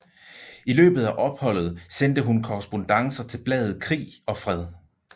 I løbet af opholdet sendte hun korrespondancer til bladet Krig og Fred